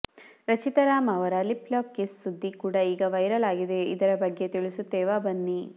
ರಚಿತಾ ರಾಮ್ ಅವರ lip lock kiss ಸುದ್ದಿ ಕೂಡ ಈಗ ವೈರಲ್ ಆಗಿದೆ ಇದರ ಬಗ್ಗೆ ತಿಳಿಸುತ್ತೇವಾ ಬನ್ನಿ